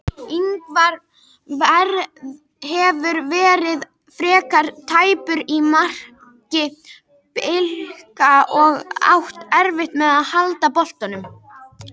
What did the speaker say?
Ingvar hefur verið frekar tæpur í marki Blika og átt erfitt með að halda boltanum.